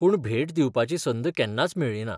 पूण भेट दिवपाची संद केन्नाच मेळ्ळीना.